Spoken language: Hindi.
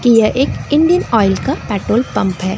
की यह एक इंडियन ऑयल का पेट्रोल पंप हैं।